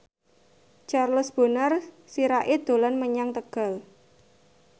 Charles Bonar Sirait dolan menyang Tegal